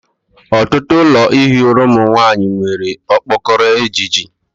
Ọtụtụ ụlọ ihi ụra ụmụ nwanyị nwere okpokoro ejiji